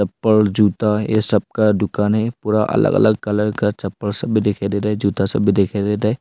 चप्पल जूता ये सब का दुकान है पूरा अलग अलग कलर का चप्पल सभी देखने दे रहे हैं जूता सभी देखने दे रहे हैं।